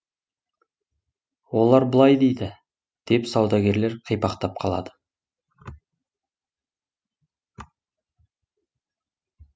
олар былай дейді деп саудагерлер қипақтап қалады